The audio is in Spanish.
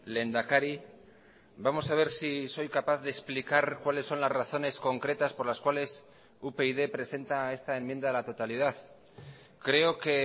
lehendakari vamos a ver si soy capaz de explicar cuáles son las razones concretas por las cuales upyd presenta esta enmienda a la totalidad creo que